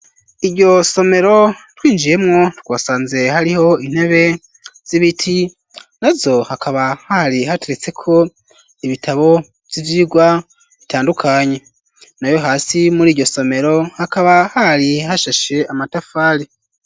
Iryo somero twinjiyemwo twasanze hariho intebe z'ibiti nazo hakaba hari hateretseko ibitabo vy'ivyirwa bitandukanye nayo hasi muriryo somero hakaba hari hasheshe amatafari.